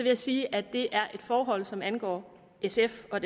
jeg sige at det er forhold som angår sf og